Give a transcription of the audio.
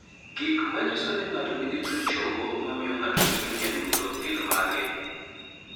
Gik manyiso ni ng'ato nigi tuo chogo mamio ng'ato bedo nyadundo gin mage?